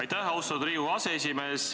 Aitäh, austatud Riigikogu aseesimees!